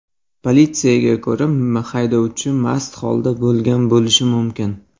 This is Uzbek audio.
Politsiyaga ko‘ra, haydovchi mast holatda bo‘lgan bo‘lishi mumkin.